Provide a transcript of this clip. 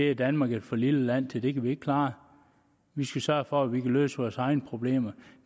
er danmark et for lille land til det kan vi ikke klare vi skal sørge for at vi kan løse vores egne problemer og